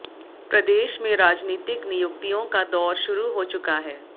प्रदेश में राजनीतिक नियुक्तियों का दौर शुरू हो चुका है